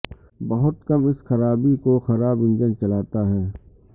بہت کم اس خرابے کو خراب انجن چلاتا ہے